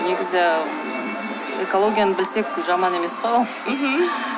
негізі экологияны білсек бұл жаман емес қой ол мхм